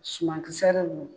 Suman kisɛ dɔ n